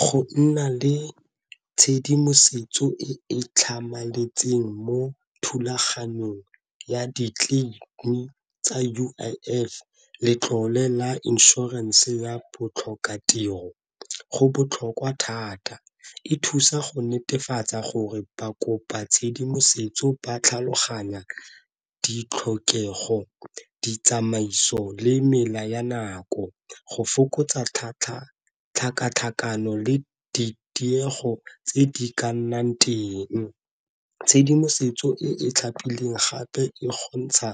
Go nna le tshedimosetso e e tlhamaletseng mo thulaganyong ya tsa U_I_F, letlole la insurance ya botlhokatiro go botlhokwa thata e thusa go netefatsa gore ba kopa tshedimosetso ba tlhaloganya ditlhokego, ditsamaiso, le mela ya nako, go fokotsa tlhakatlhakano le ditiego tse di ka nnang teng. Tshedimosetso e e tlhapileng gape e kgontsha